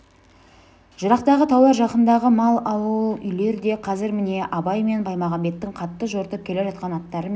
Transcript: жырақтағы таулар да жақындағы мал ауыл-үйлер де қазір міне абай мен баймағамбеттің қатты жортып келе жатқан аттары мен